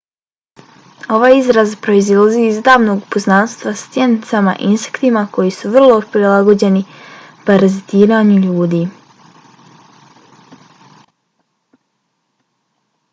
ovaj izraz proizilazi iz davnog poznanstva sa stjenicama insektima koji su vrlo prilagođeni parazitiranju ljudi